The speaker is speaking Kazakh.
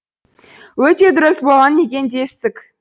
өте дұрыс болған екен дестік